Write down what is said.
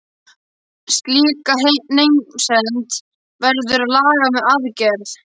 Slíka meinsemd verður að laga með aðgerð.